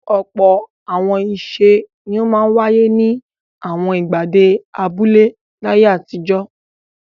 Ọ̀pọ̀ àwọn ìṣe ni ó máa ń wáyé ní àwọn ìgbàgede abúlé láyé àtijọ́.